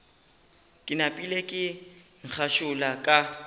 ke napile ka ngašula ka